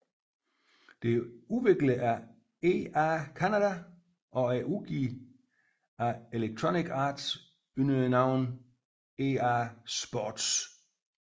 Det er udviklet af EA Canada og er udgivet af Electronic Arts under navnet EA Sports